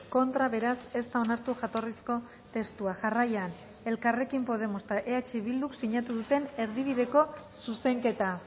contra beraz ez da onartu jatorrizko testua jarraian elkarrekin podemos eta eh bilduk sinatu duten erdibideko zuzenketa